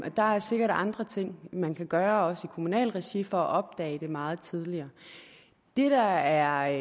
og der er sikkert andre ting man kan gøre også i kommunalt regi for at opdage det meget tidligere det der er